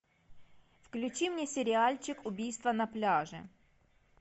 включи мне сериальчик убийство на пляже